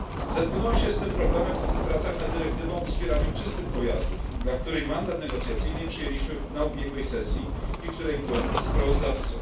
Zetknąłem się z tym problemem w pracach nad dyrektywą o wspieraniu czystych pojazdów, dla której mandat negocjacyjny przyjęliśmy podczas ubiegłej sesji i której byłem sprawozdawcą.